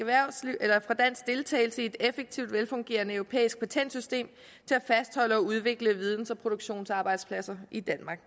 deltagelse i et effektivt velfungerende europæisk patentsystem til at fastholde og udvikle videns og produktionsarbejdspladser i danmark